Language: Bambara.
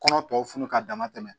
Kɔnɔ tɔw funu ka dama tɛmɛ